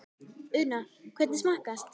Una, hvernig smakkast?